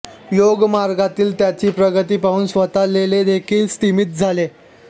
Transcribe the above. योगमार्गातील त्यांची प्रगती पाहून स्वतः लेलेदेखील स्तिमित झाले